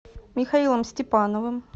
михаилом степановым